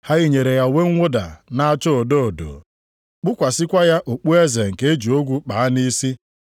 Ha yinyere ya uwe mwụda na-acha odo odo, kpukwasịkwa ya okpueze nke e ji ogwu kpaa nʼisi.